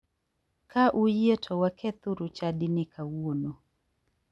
Ka uyie to wakethuru chadini kawuono.